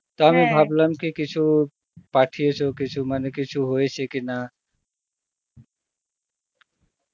ভাবলাম কি কিছু পাঠিয়েছ কিছু মানে কিছু হয়েছে কি না